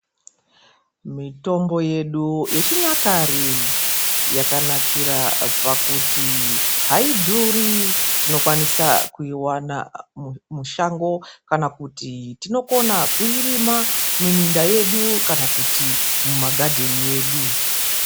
Mitombo yedu yechinyakare yakanakira pakuti haidhuri, tinokwanisa kuiwana mushango, kana kuti tinokona kuirima muminda yedu kana kuti mumagadheni edu.